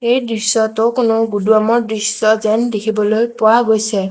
এই দৃশ্যটো কোনো গুদুৱামৰ দৃশ্য যেন দেখিবলৈ পোৱা গৈছে।